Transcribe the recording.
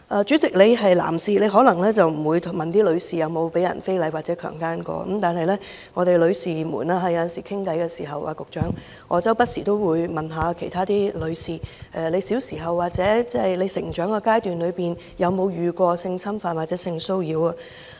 主席，你是男士，你可能不會詢問女士曾否被人非禮或強姦，但女士們有時候聊天時......局長，我不時都會詢問其他女士小時候或成長階段有否遭遇過性侵犯或性騷擾。